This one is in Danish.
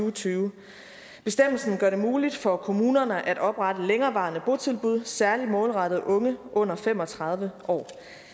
og tyve bestemmelsen gør det muligt for kommunerne at oprette længerevarende botilbud særlig målrettet unge under fem og tredive år